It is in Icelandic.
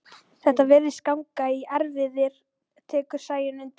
Þetta virðist ganga í erfðir, tekur Sæunn undir.